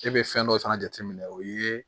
E bɛ fɛn dɔ fana jate minɛ o ye